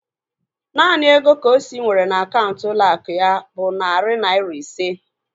Naanị ego Kosi nwere na akaụntụ ụlọ akụ ya bụ narị naira ise